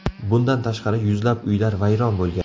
Bundan tashqari, yuzlab uylar vayron bo‘lgan.